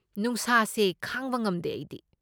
ꯅꯨꯡꯁꯥꯁꯦ ꯈꯥꯡꯕ ꯉꯝꯗꯦ ꯑꯩꯗꯤ꯫